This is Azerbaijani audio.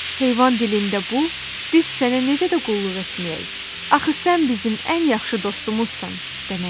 Heyvan dilində bu, "Biz sənə necə də qulluq etməyək? Axı sən bizim ən yaxşı dostumuzsan!" deməkdir.